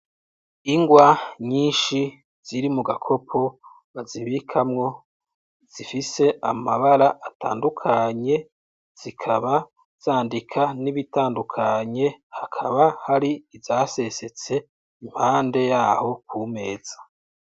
Ingwa nyishi ziri muga kopo bazibikamwo zifise amabara atandukanye zikaba zandika n'ibitandukanye hakaba hari iza sesetse impande yaho ku meza.